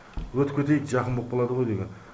өтіп кетейік жақын боп қалады ғой деген